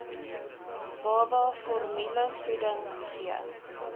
baba formulevoeding gee